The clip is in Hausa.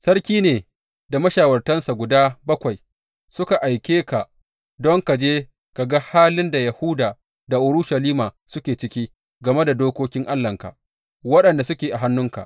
Sarki ne da mashawartansa guda bakwai suka aike ka don ka je ka ga halin da Yahuda da Urushalima suke ciki game da dokokin Allahnka, waɗanda suke a hannunka.